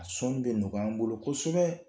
A sɔn bɛ ɲɔgɔy'an bolo kosɛbɛ.